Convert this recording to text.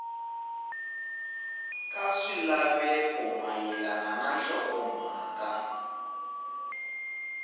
ka swilaveko mayelana na nhlokomhaka